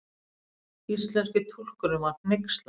Íslenski túlkurinn var hneykslaður.